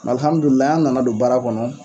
Alihamudulila an nana don baara kɔnɔ